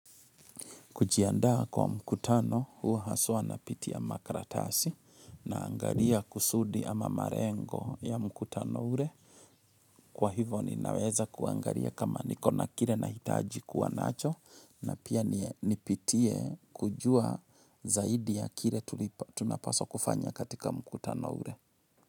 Kujiandaa kwa mkutano huwa haswa napitia makaratasi naangalia kusudi ama malengo ya mkutano ule. Kwa hivo ninaweza kuangalia kama niko na kile nahitaji kuwa nacho na pia nipitie kujua zaidi ya kile tunapaswa kufanya katika mkutano ule.